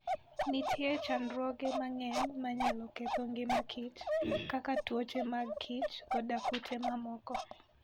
Nitie chandruoge mang'eny manyalo ketho ngima kich, kaka tuoche mag kich koda kute mamoko.